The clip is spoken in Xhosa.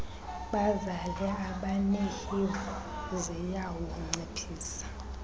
bazale abanehiv ziyawunciphisa